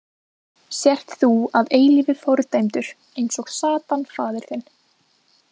Sért þú að eilífu fordæmdur eins og Satan faðir þinn.